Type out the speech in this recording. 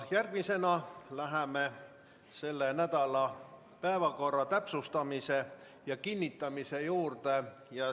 Järgmisena läheme selle nädala päevakorra täpsustamise ja kinnitamise juurde.